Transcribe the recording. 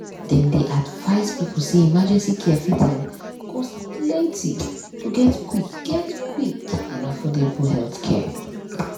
dem dey advise people say emergency care fit um cost plenty to get quick get quick and affordable healthcare.